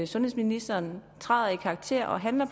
sundhedsministeren træder i karakter og handler